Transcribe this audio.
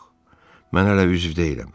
Yox, mən hələ üzv deyiləm.